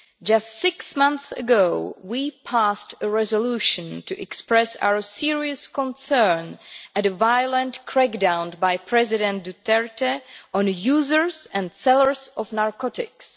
Just six months ago, we passed a resolution to express our serious concern at the violent crackdown by President Duterte on the users and sellers of narcotics.